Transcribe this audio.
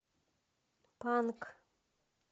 панк